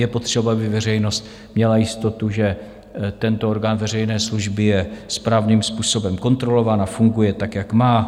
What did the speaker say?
Je potřeba, aby veřejnost měla jistotu, že tento orgán veřejné služby je správným způsobem kontrolován a funguje tak, jak má.